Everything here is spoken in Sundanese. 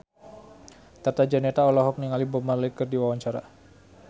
Tata Janeta olohok ningali Bob Marley keur diwawancara